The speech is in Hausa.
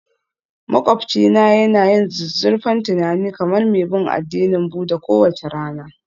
Maƙwabcina yana yin zuzzurfan tunani kamar mai bin addinin Buddha kowace rana